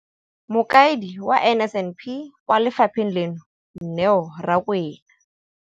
Mokaedi wa NSNP kwa lefapheng leno, Neo Rakwena,